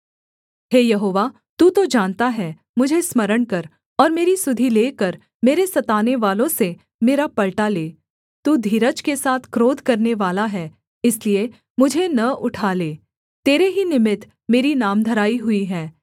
हे यहोवा तू तो जानता है मुझे स्मरण कर और मेरी सुधि लेकर मेरे सतानेवालों से मेरा पलटा ले तू धीरज के साथ क्रोध करनेवाला है इसलिए मुझे न उठा ले तेरे ही निमित्त मेरी नामधराई हुई है